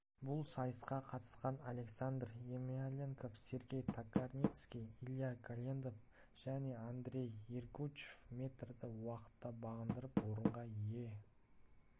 бұл сайысқа қатысқан александр емельянов сергей токарницкий илья голендов жәнеандрей ергучв метрді уақытта бағындырып орынға ие